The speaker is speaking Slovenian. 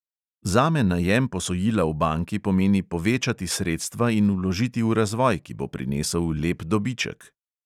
Zame najem posojila v banki pomeni povečati sredstva in vložiti v razvoj, ki bo prinesel lep dobiček.